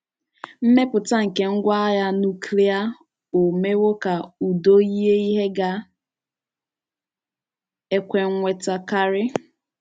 Mmepụta nke ngwá àgha nuklia ò mewo ka udo yie ihe ga - ekwe nnwètá karị?